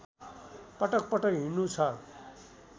पटक पटक हिड्नु छ